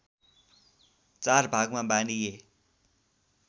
४ भागमा बाँडिए